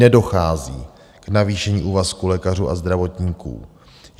Nedochází k navýšení úvazku lékařů a zdravotníků.